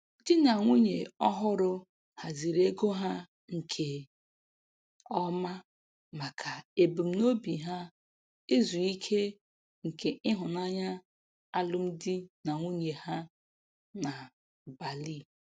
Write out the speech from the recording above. Di na nwunye ọhụrụ haziri ego ha nke ọma maka ebumnobi ha izu ike nke ịhụnanya alụm di na nwunye ha na Bali.